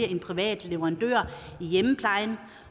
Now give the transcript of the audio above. en privat leverandør i hjemmeplejen